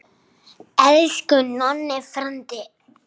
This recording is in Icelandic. Elsku Nonni frændi.